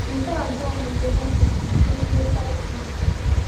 Nke abụọ n’usoro mkpa bụ emume Pythian.